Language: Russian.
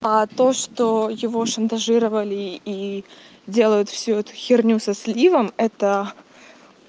а то что его шантажировали и делают всю эту херню со сливом это